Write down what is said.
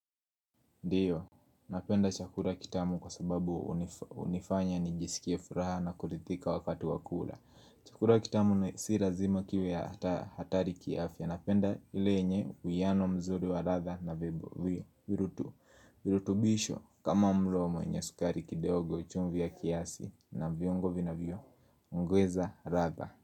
Ndio, napenda chakula kitamu kwa sababu hunifanya nijisikie furaha na kuridhika wakati wa kula. Chakula kitamu si lazima kiwe hatari kiafya. Napenda ile yenye uwiano mzuri wa ladhaa na virutubisho kama mlo mwenye sukari kidogo chumvi ya kiasi na viungo vinavyongeza ladhaa.